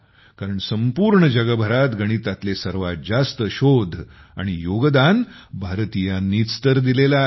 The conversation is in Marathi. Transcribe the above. कारण संपूर्ण जगभरात गणितातले सर्वात जास्त शोध आणि योगदान भारतीयांनीच तर दिलेले आहे